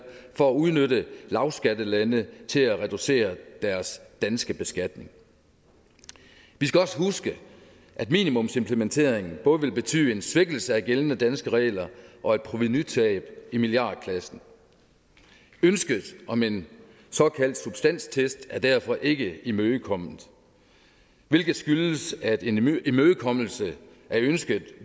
for at udnytte lavskattelande til at reducere deres danske beskatning vi skal også huske at minimumsimplementeringen både vil betyde en svækkelse af gældende danske regler og et provenutab i milliardklassen ønsket om en såkaldt substanstest er derfor ikke imødekommet hvilket skyldes at en imødekommelse af ønsket